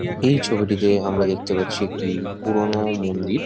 এই ছবিটিতে আমরা দেখতে পাচ্ছি একটি পুরোনো মন্দির ।